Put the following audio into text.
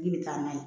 I bɛ taa n'a ye